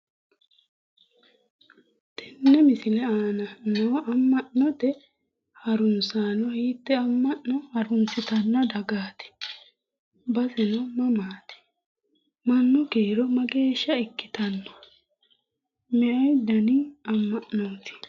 Tenne misile aana noo amma'note harunsaano hitee amma'no harunsutanno dagaati baseno mamaati? Mannu kiiro mageeshsha ikkitanno? Meu dani amma'noti?